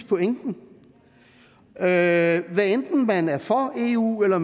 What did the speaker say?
pointen hvad enten man er for eu eller